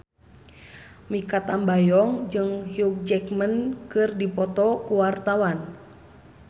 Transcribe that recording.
Mikha Tambayong jeung Hugh Jackman keur dipoto ku wartawan